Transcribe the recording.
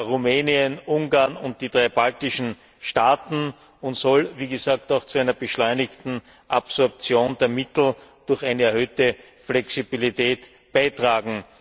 Rumänien, Ungarn und die drei baltischen Staaten und soll, wie gesagt, auch zu einer beschleunigten Absorption der Mittel durch eine erhöhte Flexibilität beitragen.